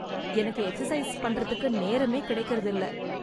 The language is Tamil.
எனக்கு எக்ஸசைஸ் பண்றதுக்கு நேரமே கிடைக்கிறது இல்ல.